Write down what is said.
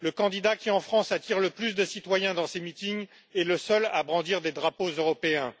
Le candidat qui, en France, attire le plus de citoyens dans ses meetings est le seul à brandir des drapeaux européens.